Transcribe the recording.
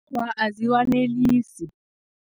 Awa, aziwanelisi.